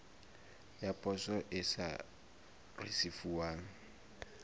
ya poso e sa risefuwang